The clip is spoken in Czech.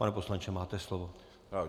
Pane poslanče, máte slovo.